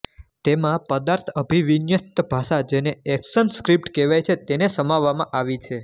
તેમાં પદાર્થઅભિવિન્યસ્ત ભાષા જેને એકશનસ્ક્રિપ્ટ કહેવાય છે તેને સમાવવામાં આવી છે